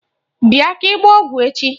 Bịa ka ị gbaa ọgwụ echi!